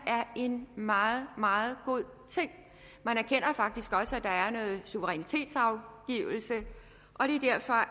en meget meget god ting man erkender faktisk også at der er noget suverænitetsafgivelse og det er derfor